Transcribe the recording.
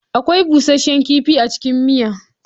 Akwai busasshen kifi a cikin miya.